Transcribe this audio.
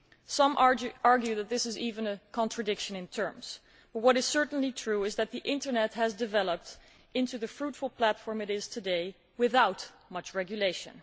Some argue that this is actually a contradiction in terms, but what is certainly true is that the internet has developed into the fruitful platform it is today without much regulation.